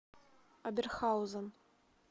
оберхаузен